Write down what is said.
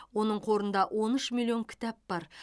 оның қорында он үш миллион кітап бар